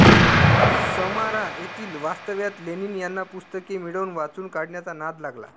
समारा येथील वास्तव्यात लेनिन यांना पुस्तके मिळवून वाचून काढण्याचा नाद लागला